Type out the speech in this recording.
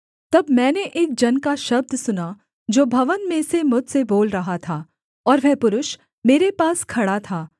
तब मैंने एक जन का शब्द सुना जो भवन में से मुझसे बोल रहा था और वह पुरुष मेरे पास खड़ा था